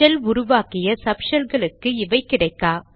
shell உருவாக்கிய sub ஷெல்களுக்கு இவை கிடைக்கா